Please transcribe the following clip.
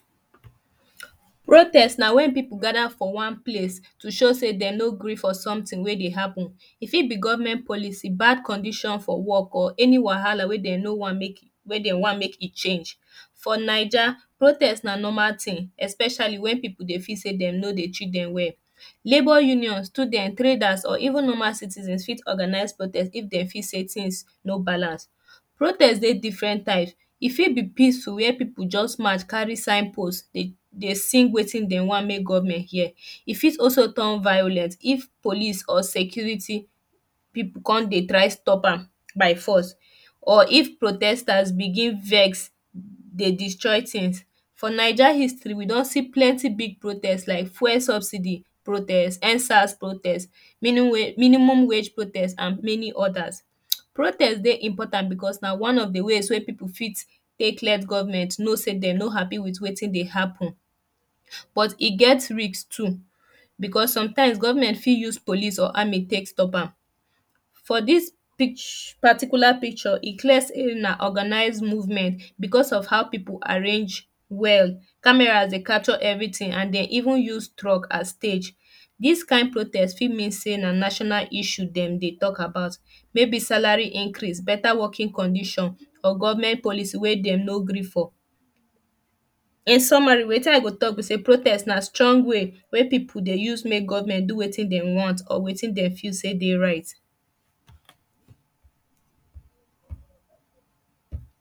protest na wen people gada for one place to show sey dey no gree for something wey dey happen e fit be government policy bad condition for work or any wahala wey dey no one make wey dey one make im change for naija protest na normal thing especially wen people dey feel sey dem no dey treat dem well labour union students traders or even normal citizens fit organise protest if dey feel sey things no balance protest dey different types e fit be peaceful wey people just pass cari signpost today dey sing wetin dey one make government hear e fit also turn violent if police or security people come dey try stop am by force or if protesters begin vex dey destroy things for naija histroy we don see plenty big protest like fuel subsidy protest endsars protest um minimum wage protest and many others protest dey important bcos na one of de ways wey people fit take let government know sey dem no happy with wetin dey happen but e get risk too bcos sometimes government fit use police or army take stop am for dis um particular picture e clear sey na orgamise movement bcos of how people arrange well camara dey capture everything and dey even use truck as stage dis kind protest fit mean sey na national issue dem dey talk about maybe salary increase beta working condition for government policy wey dem no gree for in summary wetin i go talk be sey protest na strong way wey people dey use make govenment do wetin dem want or wetin dey feel sey dey right